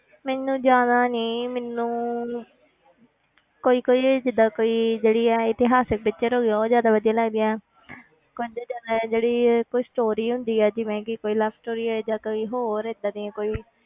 ਮੈਨੂੰ ਜ਼ਿਆਦਾ ਨੀ ਮੈਨੂੰ ਕੋਈ ਕੋਈ ਜਿੱਦਾਂ ਕੋਈ ਜਿਹੜੀ ਆ ਇਤਿਹਾਸਕ picture ਹੋ ਗਈਆਂ ਉਹ ਜ਼ਿਆਦਾ ਵਧੀਆ ਲੱਗਦੀਆਂ ਜਾਂ ਤਾਂ ਜਿਹੜੀ ਇਹ ਕੋਈ story ਹੁੰਦੀ ਹੈ ਜਿਵੇਂ ਕਿ ਕੋਈ love story ਹੈ ਜਾਂ ਕੋਈ ਹੋਰ ਏਦਾਂ ਦੀ ਕੋਈ